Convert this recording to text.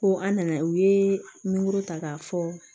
Ko an nana u ye nimoro ta k'a fɔ